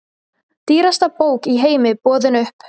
Dýrasta bók í heimi boðin upp